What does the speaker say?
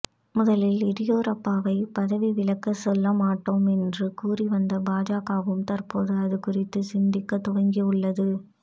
முதலில் எதியூரப்பாவை பதவி விலகச் சொல்ல மாட்டோம் என்று கூறி வந்த பாஜகவும் தற்போது அது குறித்து சிந்திக்கத் துவங்கியுள்ளது